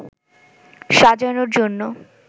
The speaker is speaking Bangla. সাজানোর জন্য